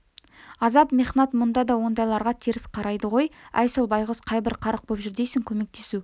азап-мехнат мұнда да ондайларға теріс қарайды ғой әй сол байғұс қайбір қарық боп жүр дейсің көмектесу